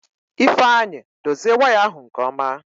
Ifeanyị dozie waya ahụ nke ọma.